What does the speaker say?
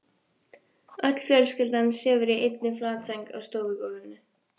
Öll fjölskyldan sefur í einni flatsæng á stofugólfinu.